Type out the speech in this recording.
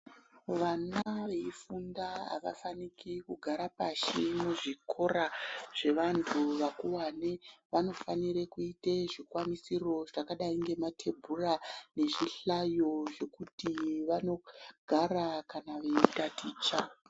Vana veifunda avafaniki kugara pashi muzvikora zvevantu vakuwani. Vanofanire kuite zvikwanisiro zvakadai ngemathebhura nezvihlayo zvekuti vanogara kana veitaticha.